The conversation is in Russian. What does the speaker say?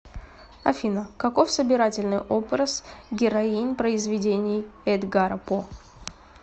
афина каков собирательный образ героинь произведений эдгара по